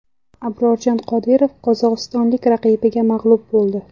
Abrorjon Qodirov qozog‘istonlik raqibiga mag‘lub bo‘ldi.